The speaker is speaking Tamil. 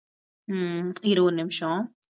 உம் இரு ஒரு நிமிஷம்